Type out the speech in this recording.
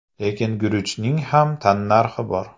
Lekin guruchning ham tannarxi bor.